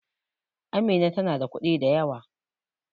Amina tana da kuɗi da yawa